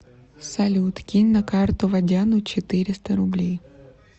салют кинь на карту водяну четыреста рублей